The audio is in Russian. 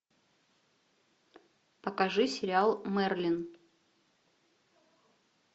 покажи сериал мерлин